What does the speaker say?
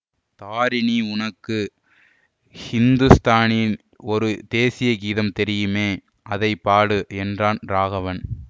தாரிணி உனக்கு ஹிந்துஸ்தானியில் ஒரு தேசீய கீதம் தெரியுமே அதை பாடு என்றான் ராகவன்